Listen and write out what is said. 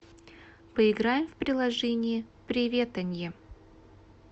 поиграем в приложение приветанье